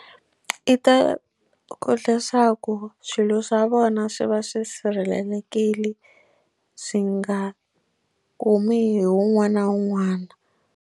I ta ku leswaku swilo swa vona swi va swi sirhelelekile swi nga kumi hi wun'wana na wun'wana.